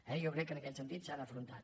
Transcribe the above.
jo crec que en aquest sentit s’han afrontat